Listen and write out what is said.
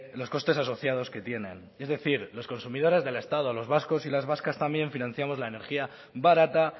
los costes asociados que tienen es decir los consumidores del estado los vascos y las vascas también financiamos la energía barata